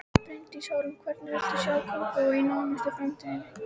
Bryndís Hólm: Hvernig viltu sjá Kópavog í nánustu framtíð?